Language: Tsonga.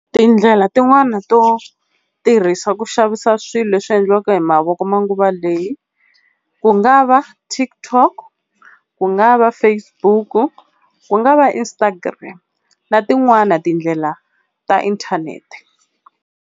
Tindlela tin'wani to tirhisa ku xavisa swilo leswi endliwaka hi mavoko manguva leyi, ku nga va TikTok ku nga va Facebook ku nga va Instagram na tin'wana tindlela ta inthanete.